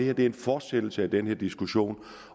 er en fortsættelse af den her diskussion